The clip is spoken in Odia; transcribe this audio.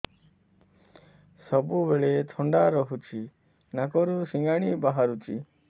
ସବୁବେଳେ ଥଣ୍ଡା ରହୁଛି ନାକରୁ ସିଙ୍ଗାଣି ବାହାରୁଚି